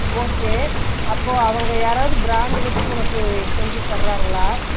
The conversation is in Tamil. okay அப்போ அவங்க யாராவது brand வெச்சு உன்னக்கு செஞ்சு தராங்களா ?